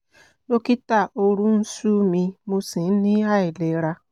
dókítà òru ń ṣú mi mo sì ń ní àìlera